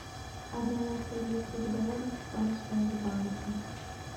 обмен австралийских долларов в промсвязьбанке